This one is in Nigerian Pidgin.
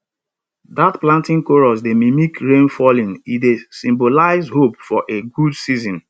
dat planting chorus dey mimic rain falling e dey symbolize hope for a good season